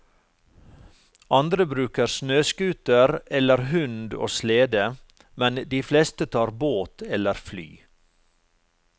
Andre bruker snøscooter eller hund og slede, men de fleste tar båt eller fly.